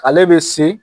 Ale bɛ se